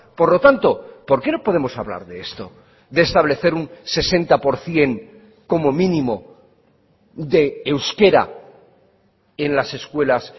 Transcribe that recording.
por lo tanto por qué no podemos hablar de esto de establecer un sesenta por ciento como mínimo de euskera en las escuelas